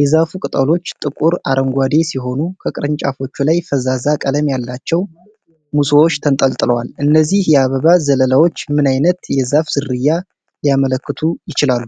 የዛፉ ቅጠሎች ጥቁር አረንጓዴ ሲሆኑ፣ ከቅርንጫፎቹ ላይ ፈዛዛ ቀለም ያላቸው ሙሶች ተንጠልጥለዋል። እነዚህ የአበባ ዘለላዎች ምን ዓይነት የዛፍ ዝርያ ሊያመለክቱ ይችላሉ?